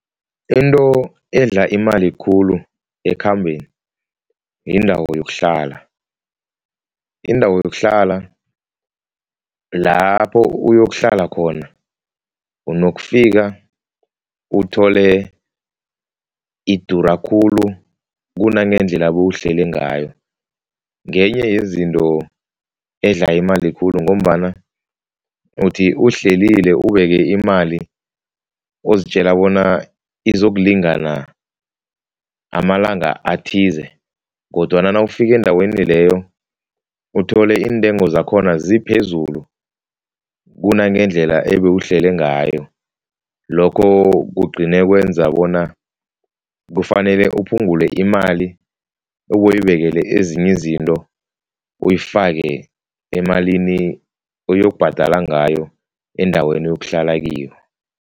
Into edla imali khulu ekhambeni, yindawo yokuhlala. Indawo yokuhlala lapho uyokuhlla khona unokufika uthole idura khulu kunangendlela bowuhlele ngayo, ngenye yezinto edla imali khulu ngombana uthi uhlelile ubeke imali uzitjela bona izokulingana amalanga athize kodwana nawufika endaweni leyo uthole iintengo zakhona ziphezulu kunangendlela ebewuhlele ngayo, lokho kugcine kwenza bona kufanele uphungule imali obuyibekele ezinye izinto, uyifake emalini oyokubhadala ngayo endaweni oyokuhlala kiyo.